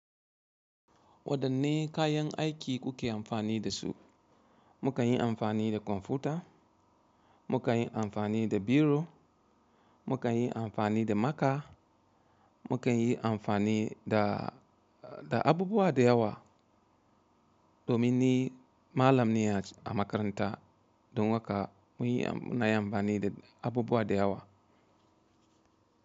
Wadanne kayan aiki kuke amfani da su? Mukan yi amfani da kwamfuta, mukan yi amfani da biro, mukan yi amfani da maka, mukan yi amfani da, da abubuwa da yawa domin ni Mallam ne aj, a makaranta don haka mun yi, ina yi amfani da abubuwa da yawa.